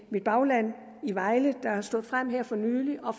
bagland i vejle der er stået frem her for nylig og